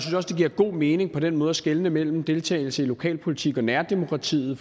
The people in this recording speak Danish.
det giver god mening på den måde at skelne mellem deltagelse i lokalpolitik og nærdemokratiet